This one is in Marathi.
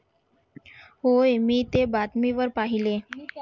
होय मी ते बातमी वर पहिले